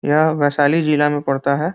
यह वैशाली जिला में पड़ता है।